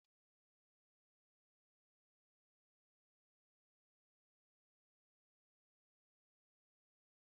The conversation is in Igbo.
A na-akọ akụkọ ụmụ anụmanụ ka ha nwee anụmanụ ndị nwere ọgụgụ isi dị ka agwa